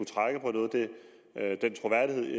trække på noget af den troværdighed